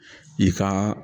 I ka